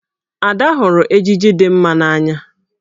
Ada hụrụ ejiji dị mma n'anya.